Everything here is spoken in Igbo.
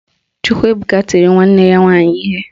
Chukwuebuka tiri nwanne ya nwaanyị ihe